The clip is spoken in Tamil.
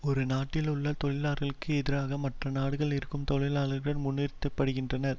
ஒரு நாட்டில் உள்ள தொழிலாளர்களுக்கு எதிராக மற்ற நாடுகளில் இருக்கும் தொழிலாளர்கள் முன்னிறுத்தப்படுகின்றனர்